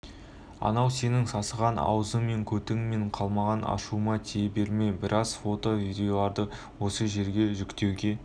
анау сенің сасыған аузыңмен кө кімнен қалмаған ашуыма тие берме біраз фото видеоларды осы жерге жүктеуге